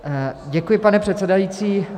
Děkuji, pane předsedající.